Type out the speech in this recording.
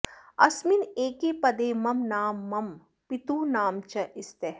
अस्मिन् एके पदे मम नाम मम पितुः नाम च स्तः